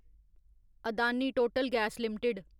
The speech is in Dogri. Adani Total Gas limited